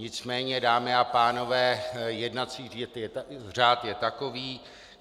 Nicméně, dámy a pánové, jednací řád je takový.